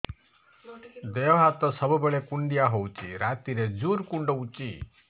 ଦେହ ହାତ ସବୁବେଳେ କୁଣ୍ଡିଆ ହଉଚି ରାତିରେ ଜୁର୍ କୁଣ୍ଡଉଚି